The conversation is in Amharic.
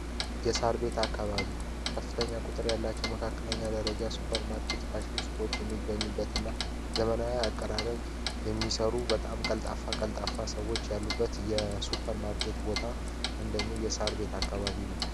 የሳራ ቤት አካባቢ ከፍተኛ ቁጥር ያላቸው መካከለኛ ደረጃ ሱፐር ማርኬት ፋሺን ሱቆች የሚገኙበት እና ዘመናዊ አቀራረብ የሚሰሩ በጣም ቀልጣፍ ቀልጣፋ ሰዎች ያሉበት የ ሱፐር ማርኬት ቦታ አንደኛው የሳር ቤት አካባቢ ነው ።